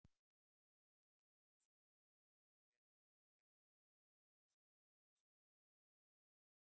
Telma Tómasson: Og hvenær og hvernig fær fólk þessa fjármuni sína?